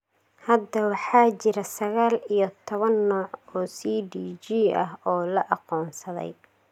Hadda, waxa jira sagaal iyo toban nooc oo CDG ah oo la aqoonsaday.